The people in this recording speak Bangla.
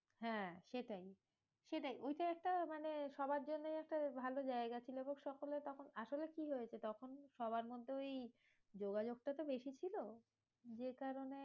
হ্যাঁ সেটাই, সেটাই ওইটাই একটা মানে সবার জন্যে একটা ভালো জায়গা ছিলগো সকলে, তখন আসলে কি হয়েছে? তখন সবার মধ্যে ওই যোগাযোগ টা তো বেশি ছিল, যে কারণে